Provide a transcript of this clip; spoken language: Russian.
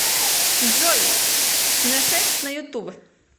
джой неффекс на ютуб